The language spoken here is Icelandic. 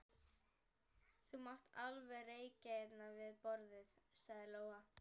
Þú mátt alveg reykja hérna við borðið, sagði Lóa.